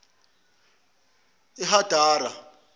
ehadara